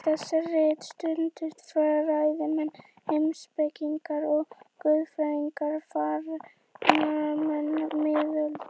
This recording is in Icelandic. Við þessi rit studdust fræðimenn, heimspekingar og guðfræðingar framan af miðöldum.